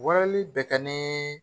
Walali bɛ kɛ ni